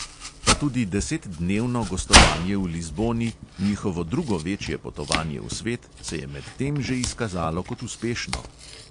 Pa tudi desetdnevno gostovanje v lizboni, njihovo drugo večje potovanje v svet, se je medtem že izkazalo kot uspešno.